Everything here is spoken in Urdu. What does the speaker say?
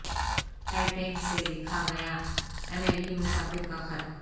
ٹائی ٹینک سے لکھا گیا امریکی مسافر کا خط